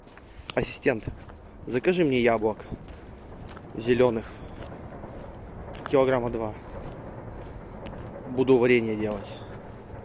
ассистент закажи мне яблок зеленых килограмма два буду варенье делать